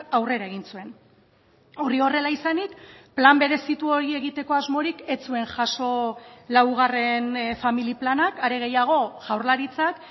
aurrera egin zuen hori horrela izanik plan berezitu hori egiteko asmorik ez zuen jaso laugarren familia planak are gehiago jaurlaritzak